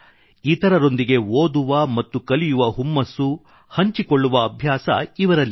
ಇತರರೊಂದಿಗೆ ಓದುವ ಮತ್ತು ಕಲಿಯುವ ಹುಮ್ಮಸ್ಸು ಹಂಚಿಕೊಳ್ಳುವ ಅಭ್ಯಾಸ ಇವರಲ್ಲಿದೆ